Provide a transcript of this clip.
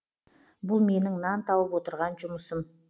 бұл менің нан тауып отырған жұмысым